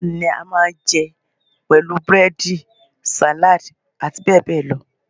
Máyónísiìsì ni a máa ń jẹ pẹ̀lú búrẹ́dì, sàládì àti bẹ́ẹ̀ bẹ́ẹ̀ lọ.